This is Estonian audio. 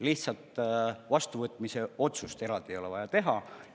Lihtsalt vastuvõtmise otsust eraldi ei ole vaja teha.